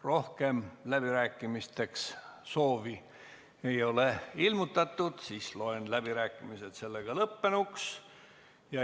Rohkem läbirääkimisteks soovi ei ole ilmutatud, seega loen läbirääkimised lõppenuks.